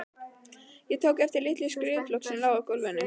Ég tók eftir lítilli skrifblokk sem lá í gólfinu.